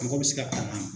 Mɔgɔ bɛ se ka tanga